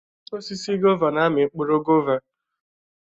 Osisi gọvá na-amị mkpụrụ gọvá.